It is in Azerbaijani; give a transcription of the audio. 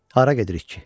Hara gedirik ki?